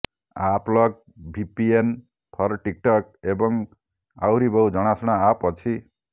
AppLock VPN for TikTok ଏବଂ ଆହୁରି ବହୁ ଜଣାଶୁଣା ଆପ୍ ଅଛି